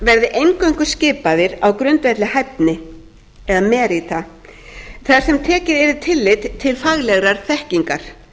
verði eingöngu skipaðir á grundvelli hæfni þar sem tekið yrði tillit til faglegrar þekkingar